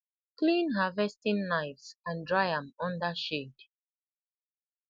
clean harvesting knives and dry am under shade